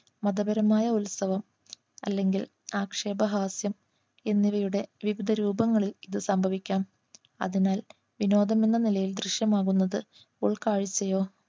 മതപരമായ ഉത്സവം അല്ലെങ്കിൽ ആക്ഷേപഹാസ്യം എന്നിവയുടെ വിവിധ രൂപങ്ങളിൽ ഇത് സംഭവിക്കാം അതിനാൽ വിനോദം എന്ന നിലയിൽ ദൃശ്യമാവുന്നത് ഉൾക്കാഴ്ചയോ